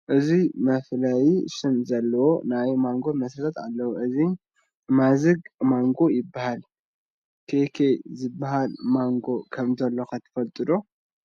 ብዙሕ መፍለዪ ሽም ዘለዎም ናይ ማንጎ መስተታት ኣለዉ፡፡ እዚ ማዝግ ማንጎ ይበሃል፡፡ ኬኬ ዝበሃል ፈሳሲ መንጎ ከምዘሎ ኸ ትፈልጢ ዶ?